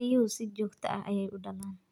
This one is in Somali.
Riyuhu si joogto ah ayay u dhalaan.